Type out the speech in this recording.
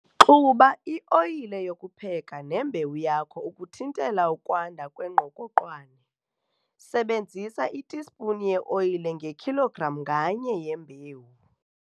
Xuba i-oyile yokupheka nembewu yakho ukuthintela ukwanda kwengqokoqwane. Sebenzisa itispuni ye-oyile ngekhilogram nganye yembewu.